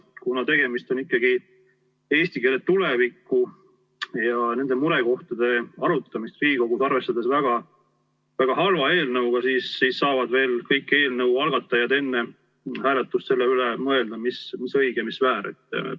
Kuna tegemist on ikkagi, arvestades eesti keele tulevikku ja murekohtade arutamist Riigikogus, väga halva eelnõuga, siis saavad kõik eelnõu algatajad enne hääletust veel selle üle mõelda, mis õige, mis väär.